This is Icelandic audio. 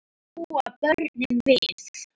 Og þetta búa börnin við.